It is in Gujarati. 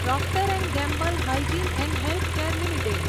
Procter and Gamble hygiene and health care limited